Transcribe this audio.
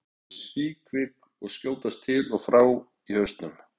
Augu þín eru síkvik og skjótast til og frá í hausnum.